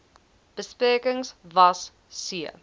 besprekings was c